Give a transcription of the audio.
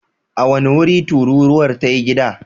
A wane wuri tururuwar ta yi gida?